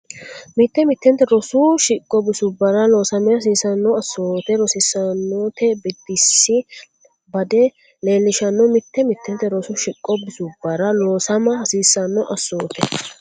Mitte mittente rosu shiqo bisubbara loosama hasiissanno assoote rosiisaanote biddissi bade leellishanno Mitte mittente rosu shiqo bisubbara loosama hasiissanno assoote.